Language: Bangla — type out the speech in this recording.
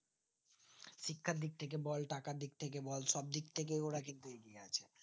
শিক্ষার দিক থেকে বল টাকার দিক থেকে বল সব দিকথেকে ওর কিন্তু এগিয়ে আছে